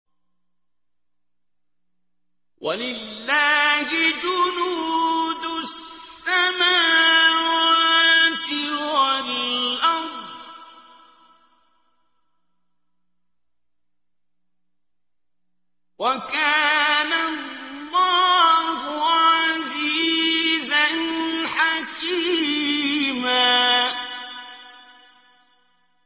وَلِلَّهِ جُنُودُ السَّمَاوَاتِ وَالْأَرْضِ ۚ وَكَانَ اللَّهُ عَزِيزًا حَكِيمًا